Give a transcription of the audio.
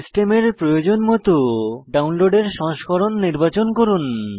সিস্টেমের প্রয়োজন মত ডাউনলোডের সংস্করণ নির্বাচন করুন